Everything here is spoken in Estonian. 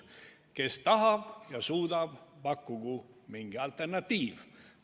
Kes tahab ja suudab, pakkugu mingi alternatiiv.